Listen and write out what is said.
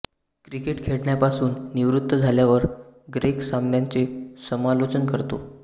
cricket खेळण्यापासून निवृत्त झाल्यावर ग्रेग सामन्यांचे समालोचन करतो